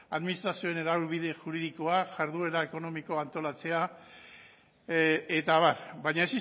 administrazioen araubide juridikoak jarduera ekonomikoa antolatzea eta abar baina